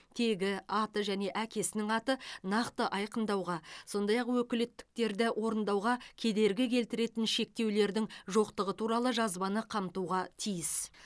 тегі аты және әкесінің аты нақты айқындауға сондай ақ өкілеттіктерді орындауға кедергі келтіретін шектеулердің жоқтығы туралы жазбаны қамтуға тиіс